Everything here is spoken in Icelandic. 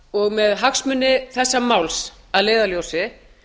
og með hagsmuni þessa máls að leiðarljósi